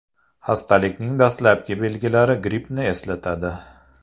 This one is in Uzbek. Xastalikning dastlabki belgilari grippni eslatadi.